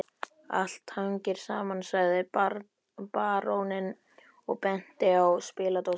Allt hangir saman, sagði baróninn og benti á spiladósina